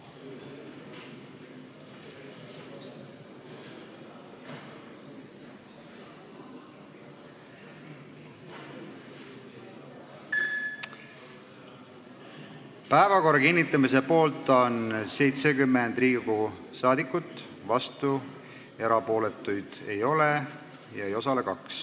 Hääletustulemused Päevakorra kinnitamise poolt on 70 Riigikogu liiget, vastuolijaid ega erapooletuid ei ole, 2 ei osale.